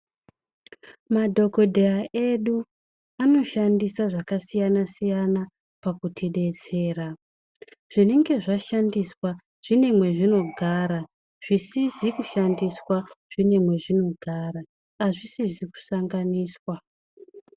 Madhogodheya edu anoshandisa zvakasiyana-siyana pakuti betsera. Zvinenge zvashandiswa mune mazvinogara zvisizi kushandiswa zvine mazvinogara hazvisizi kusanganisa.